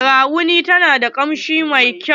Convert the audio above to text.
Garafuni ta na da kamshi mai kyau.